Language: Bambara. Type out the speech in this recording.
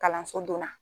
Kalanso donna